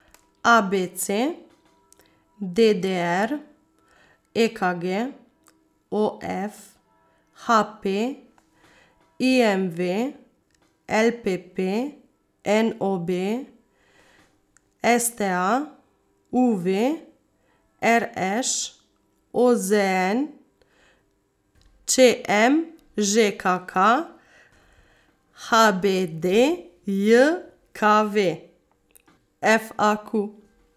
A B C; D D R; E K G; O F; H P; I M V; L P P; N O B; S T A; U V; R Š; O Z N; Č M; Ž K K; H B D J K V; F A Q.